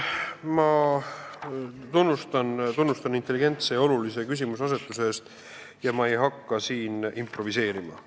Ma tunnustan teid intelligentselt tõstatatud olulise küsimuse eest, aga ma ei hakka siin improviseerima.